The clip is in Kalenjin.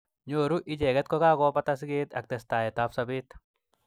Nyoru icheket kokakobata siket ak testaet ab sabet.